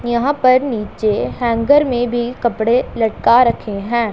यहां पर नीचे हैंगर में भी कपड़े लटका रखे हैं।